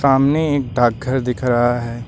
सामने एक डाकघर दिख रहा है।